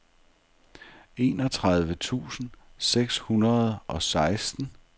enogtredive tusind seks hundrede og seksten